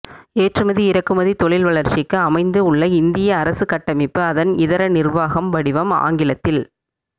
ஏற்றுமதி இறக்குமதி தொழில் வளர்ச்சிக்கு அமைந்து உள்ள இந்திய அரசு கட்டமைப்பு அதன் இதர நிர்வாகம் வடிவம் ஆங்கிலத்தில்